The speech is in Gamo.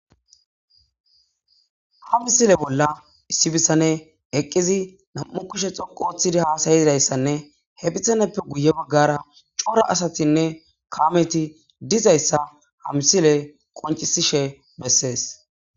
ha misile bolla issibisane eqqizi nam7u kishe xonqu oththidi haasayizayssanne he phisaneppe guye baggara cora asatinne kaameti dizayssa ha misile qoncisishe bessees